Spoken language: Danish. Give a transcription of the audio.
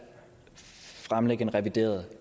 fremlægge en revideret